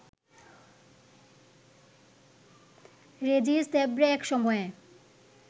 রেজিস Debray এক সময়ে